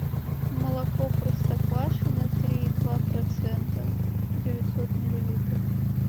молоко простоквашино три и два процента девятьсот миллилитров